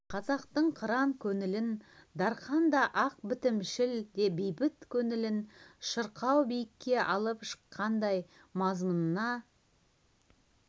қазақтың қыран көңілін дарқан да ақ бітімшіл де бейбіт көңілін шырқау биікке алып шыққандай мазмұнына